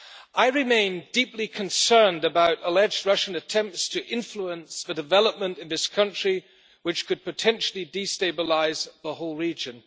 I remain deeply concerned about alleged Russian attempts to influence development in this country, which could potentially destabilise the whole region.